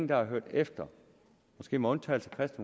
der har hørt efter måske med undtagelse af